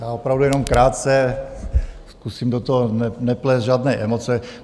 Já opravdu jenom krátce, zkusím do toho neplést žádné emoce.